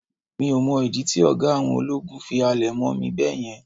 mi o mọ ìdí tí oga àwọn ológun fi halẹ̀ mọ mí beeyen